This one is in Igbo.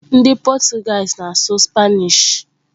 Ndị Portuguese na-asụ Spanish.